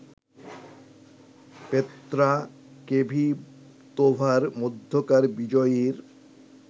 Petra কেভিতোভার মধ্যকার বিজয়ীর